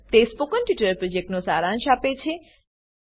તે spoken tutorial પ્રોજેક્ટનો સારાંશ આપે છે